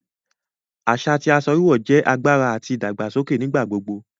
Aṣa ti aṣọ wíwọ̀ jẹ agbára àti ìdàgbàsọkè nigbagbogbo